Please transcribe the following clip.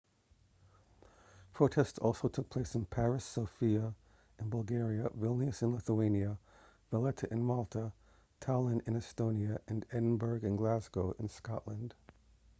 protests also took place in paris sofia in bulgaria vilnius in lithuania valetta in malta tallinn in estonia and edinburgh and glasgow in scotland